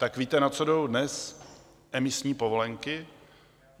Tak víte, na co jdou dnes emisní povolenky?